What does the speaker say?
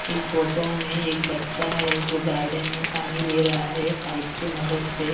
इस फोटो में एक बच्चा है जो गार्डन में पानी दे रहा है पाइप के मदद से--